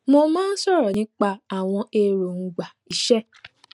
mo máa n sọrọ nípa àwọn èròngbà iṣẹ